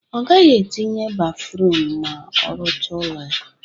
Ọ gaghị etinye bafruum ma ọ rụcha ụlọ ya